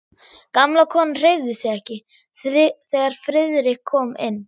Gamla konan hreyfði sig ekki, þegar Friðrik kom inn.